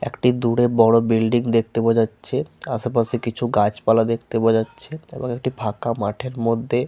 একটি দূরে বড় বিল্ডিং দেখতে পাওয়া যাচ্ছে আশেপাশে কিছু গাছপালা দেখতে পাওয়া যাচ্ছে এবং একটি ফাঁকা মাঠের মধ্যে--